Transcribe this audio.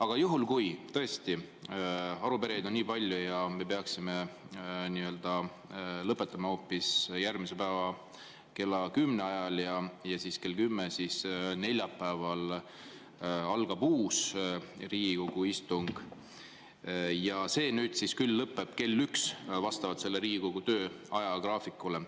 Aga juhul, kui tõesti arupärijaid on nii palju ja me peaksime lõpetama hoopis järgmisel päeval kella 10 ajal, siis neljapäeval kell 10 algab uus Riigikogu istung ja see lõpeb kell 13 vastavalt Riigikogu töö ajagraafikule.